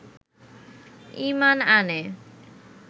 ঈমান আনে